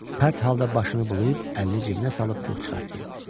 Pərt halda başını bulayıb, əlini cibinə salıb pul çıxartdı.